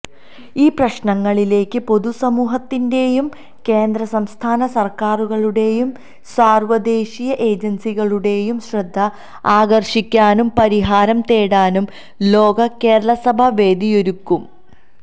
ഈ പ്രശ്നങ്ങളിലേക്ക് പൊതുസമൂഹത്തിന്റെയും കേന്ദ്രസംസ്ഥാന സര്ക്കാരുകളുടെയും സാര്വദേശീയ ഏജന്സികളുടെയും ശ്രദ്ധ ആകര്ഷിക്കാനും പരിഹാരം തേടാനും ലോക കേരളസഭ വേദിയൊരുക്കും